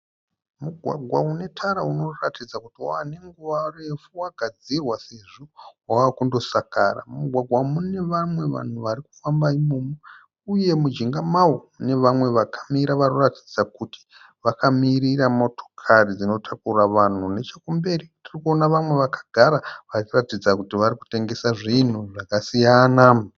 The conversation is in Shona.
Mugwagwa une tara unoratidza kuti wave nenguva refu wagadzirwa sezvo wave kundosakara. Mumugwagwa umu mune vamwe vanhu varikufamba imomo. Uye mujinga mawo mune vamwe vakamira varikuratidza kuti vakamirira motokari dzinotakura vanhu . Nechekumberi tirikuona vanhu vakagara vari kuratidza kuti varikutengesa zvinhu zvakasiyana.